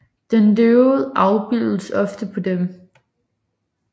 Den døde afbildes ofte på dem